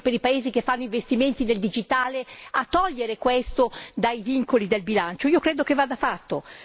Siamo pronti, per esempio, per i paesi che fanno investimenti nel digitale a togliere questo dai vincoli del bilancio?